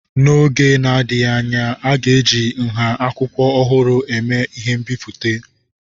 N'oge na-adịghị anya, a ga-eji nha akwụkwọ ọhụrụ eme ihe mbipụta.